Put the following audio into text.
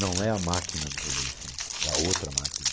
Não é a máquina dos adolescentes, é a outra máquina.